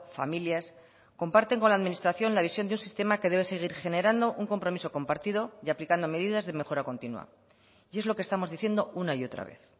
familias comparten con la administración la visión de un sistema que debe seguir generando un compromiso compartido y aplicando medidas de mejora continua y es lo que estamos diciendo una y otra vez